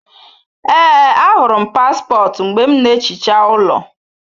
Ee, ahụrụ m paspọtụ mgbe m na-ehicha ụlọ